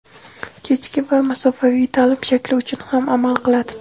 kechki va masofaviy taʼlim shakli uchun ham amal qiladi.